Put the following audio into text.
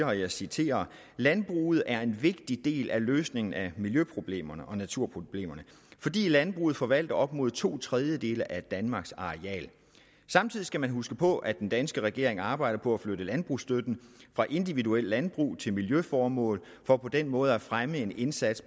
og jeg citerer landbruget er en vigtig del af løsningen af miljøproblemerne og naturproblemerne fordi landbruget forvalter op mod to tredjedele af danmarks areal samtidig skal man huske på at den danske regering arbejder på at flytte landbrugsstøtten fra individuelle landbrug til miljøformål for på den måde at kunne fremme en indsats